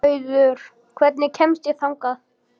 Auður, hvernig kemst ég þangað?